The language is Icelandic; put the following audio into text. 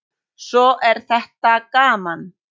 Svo er þetta gaman.